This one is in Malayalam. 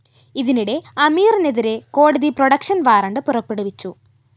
ഇതിനിടെ അമീറിനെതിരെ കോടതി പ്രൊഡക്ഷൻ വാറന്റ്‌ പുറപ്പെടുവിച്ചു